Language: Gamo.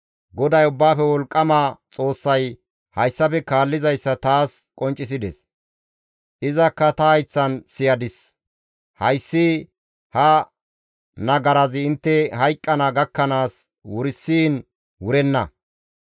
GODAY Ubbaafe Wolqqama Xoossay hayssafe kaallizayssa taas qonccisides; izakka ta hayththan siyadis; «Hayssi ha nagarazi intte hayqqana gakkanaas wursiin wurenna.»